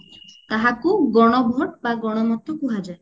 ତାହାକୁ ଗଣ vote ବା ଗଣ ମତ କୁହାଯାଏ